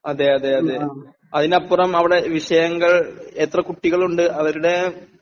അതെയതെയതെ അതിനപ്പുറം അവിടെ വിഷയങ്ങൾ എത്ര കുട്ടികളുണ്ട് അവര്ടെ